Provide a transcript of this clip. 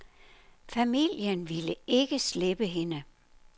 Familien ville ikke slippe hende.